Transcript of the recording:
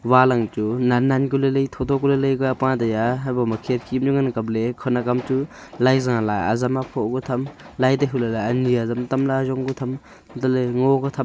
wall ang chu nan nan ku lai lai tho tho ku lai lai pa taiya hebo ma khekhi lu ngan ang kap ley khon agam chu lai ze ley azam aphoh bu tham lai toh hule ani azam tam ley ajong pe jam antoh ley ngo kya tham.